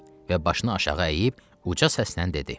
Və başını aşağı əyib uca səslə dedi: